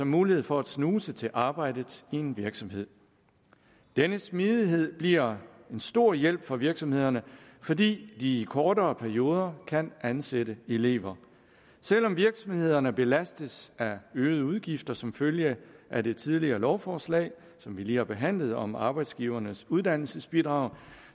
mulighed for at snuse til arbejdet i en virksomhed denne smidighed bliver en stor hjælp for virksomhederne fordi de i kortere perioder kan ansætte elever selv om virksomhederne belastes af øgede udgifter som følge af det tidligere lovforslag som vi lige har behandlet om arbejdsgivernes uddannelsebidrag